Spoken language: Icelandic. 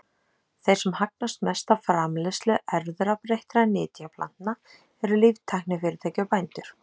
Þeir sem hagnast mest á framleiðslu erfðabreyttra nytjaplantna eru líftæknifyrirtæki og bændur.